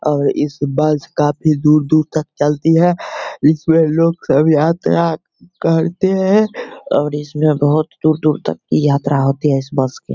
और इस बस काफी दूर-दूर तक चलती है। इसमें लोग सब यात्रा करते है और इसमें बहुत दूर-दूर तक यात्रा होती है इस बस के --